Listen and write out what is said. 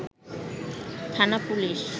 থানা পুলিশ